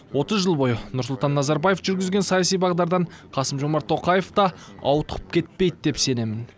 отыз жыл бойы нұрсұлтан назарбаев жүргізген саяси бағдардан қасым жомарт тоқаев та ауытқып кетпейді деп сенемін